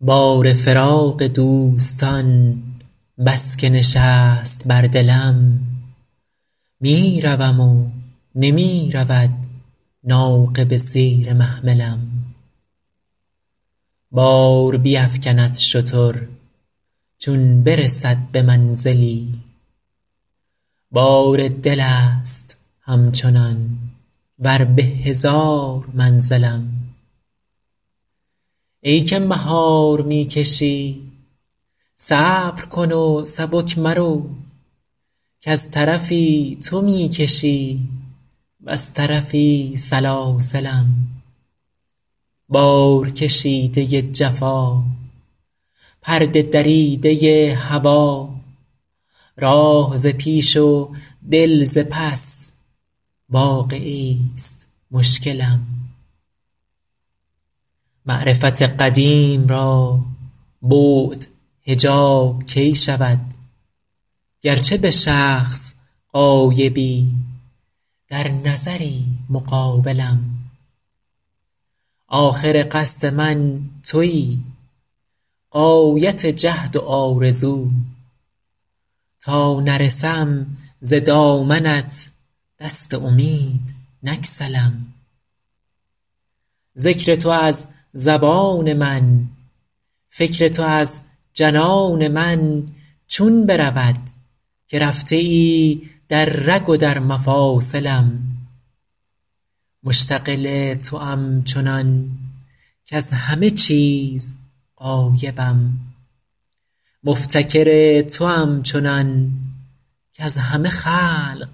بار فراق دوستان بس که نشست بر دلم می روم و نمی رود ناقه به زیر محملم بار بیفکند شتر چون برسد به منزلی بار دل است همچنان ور به هزار منزلم ای که مهار می کشی صبر کن و سبک مرو کز طرفی تو می کشی وز طرفی سلاسلم بارکشیده ی جفا پرده دریده ی هوا راه ز پیش و دل ز پس واقعه ایست مشکلم معرفت قدیم را بعد حجاب کی شود گرچه به شخص غایبی در نظری مقابلم آخر قصد من تویی غایت جهد و آرزو تا نرسم ز دامنت دست امید نگسلم ذکر تو از زبان من فکر تو از جنان من چون برود که رفته ای در رگ و در مفاصلم مشتغل توام چنان کز همه چیز غایبم مفتکر توام چنان کز همه خلق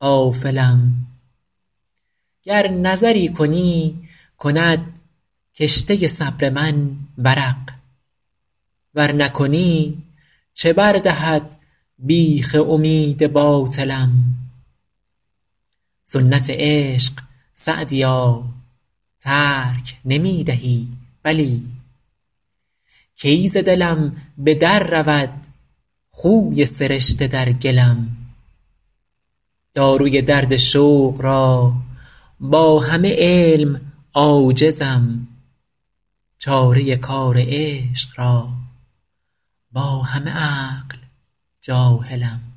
غافلم گر نظری کنی کند کشته صبر من ورق ور نکنی چه بر دهد بیخ امید باطلم سنت عشق سعدیا ترک نمی دهی بلی کی ز دلم به در رود خوی سرشته در گلم داروی درد شوق را با همه علم عاجزم چاره کار عشق را با همه عقل جاهلم